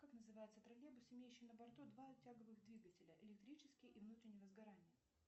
как называется троллейбус имеющий на борту два тяговых двигателя электрический и внутреннего сгорания